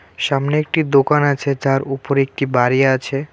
সামনে একটি দোকান আছে যার উপরে একটি বাড়ি আছে.